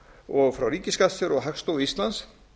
og frá ríkisskattstjóra og hagstofu íslands